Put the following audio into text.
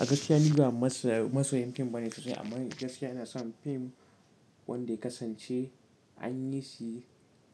A gaskiya ni ba masoyin fim ba ne sosai amma gaskiya ina son fim wanda ya kasance anyi shi